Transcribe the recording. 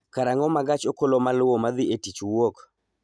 karang�o ma gach okolomaluwo ma dhi e tich wuok?